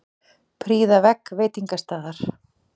Prýða vegg veitingastaðar